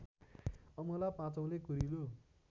अमला पाँचऔले कुरिलो